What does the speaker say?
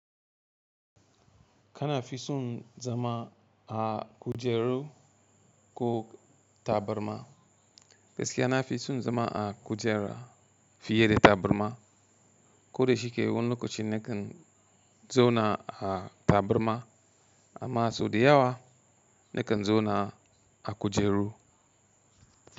Kana fi son zama a kujeru ko tabarma? Gaskiya na fi son zama a kujera fiye da tabarma, koda shike wani lokaci nakan zauna a tabarma amma sau da yawa nakan zauna a kujeru.